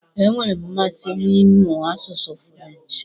E nwere m mmasị n'ịmụ asụsụ furenchi.